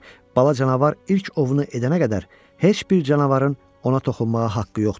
Bala canavar ilk ovunu edənə qədər heç bir canavarın ona toxunmağa haqqı yoxdur.